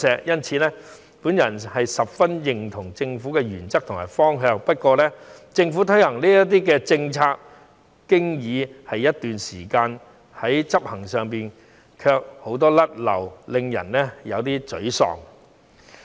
因此，我十分認同政府的原則和方向，但政府推行這些政策已經一段時間，在執行上卻有很多"甩漏"，令人有些沮喪。